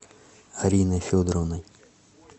ариной федоровной